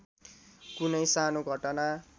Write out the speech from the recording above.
कुनै सानो घटना